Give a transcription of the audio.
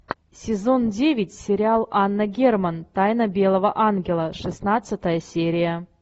сезон девять сериал анна герман тайна белого ангела шестнадцатая серия